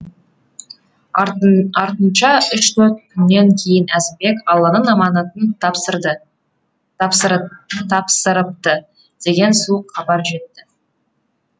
артынша үш төрт күннен кейін әзімбек алланың аманатын тапсырыпты деген суық хабар жетті